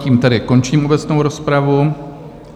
Tím tedy končím obecnou rozpravu.